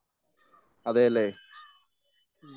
അതെയല്ലേ?